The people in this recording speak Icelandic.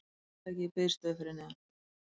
Tryllitækið í biðstöðu fyrir neðan.